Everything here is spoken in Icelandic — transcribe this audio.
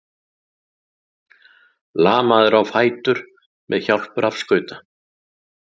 Lamaður á fætur með hjálp rafskauta